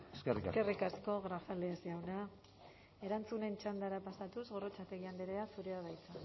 eskerrik asko eskerrik asko grajales jauna erantzunen txandara pasatuz gorrotxategi andrea zurea da hitza